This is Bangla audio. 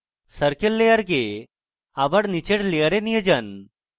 circle layer আবার নীচের layer নিয়ে যান